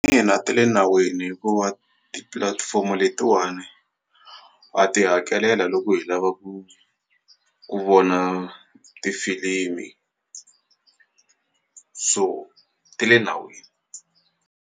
Ina, ti le nawini hikuva tipilatifomo letiwani ha ti hakelela loko hi lava ku ku vona tifilimi so ti le nawini.